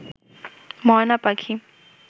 ময়না পাখি